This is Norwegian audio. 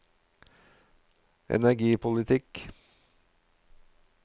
energipolitikk